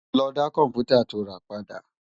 Lò dá kòmpútá tó rá làná pàdá